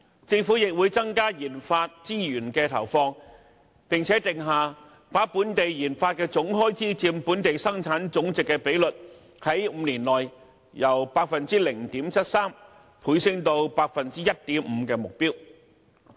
政府亦會增加研發資源的投放，並定下把本地研發總開支佔本地生產總值的比率，在5年內由 0.73% 升至 1.5% 的目標。